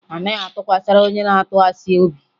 Anaghị atụkwasara onye na-atụ asị obi